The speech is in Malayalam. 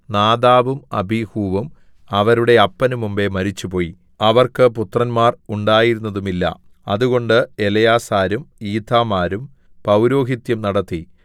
നാദാബും അബീഹൂവും അവരുടെ അപ്പന് മുമ്പെ മരിച്ചുപോയി അവർക്ക് പുത്രന്മാർ ഉണ്ടായിരുന്നതുമില്ല അതുകൊണ്ട് എലെയാസാരും ഈഥാമാരും പൗരോഹിത്യം നടത്തി